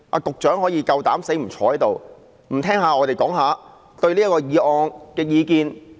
局長竟然敢膽不坐在這裏聆聽議員對這項議案的意見。